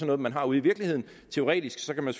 noget man har ude i virkeligheden teoretisk kan man